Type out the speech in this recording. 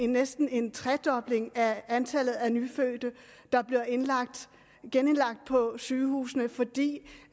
næsten en tredobling af antallet af nyfødte der bliver genindlagt på sygehusene fordi